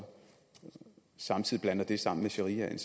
samtidig blander det sammen med sharia er